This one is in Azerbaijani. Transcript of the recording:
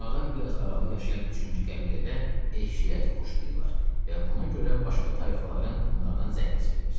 Onlardan biraz aralı yaşayan üçüncü qəbilədə eşşək əti xoşlayırlar və buna görə başqa tayfaların onlardan zəhləsi gedir.